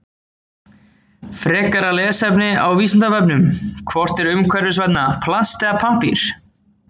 Frekara lesefni á Vísindavefnum: Hvort er umhverfisvænna, plast eða pappír?